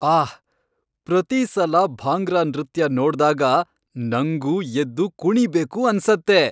ಆಹ್! ಪ್ರತೀ ಸಲ ಭಾಂಗ್ರಾ ನೃತ್ಯ ನೋಡ್ದಾಗ ನಂಗೂ ಎದ್ದು ಕುಣೀಬೇಕು ಅನ್ಸತ್ತೆ.